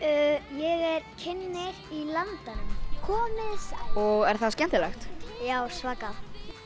ég er kynnir í Landanum komiði sæl og er það skemmtilegt já svakalega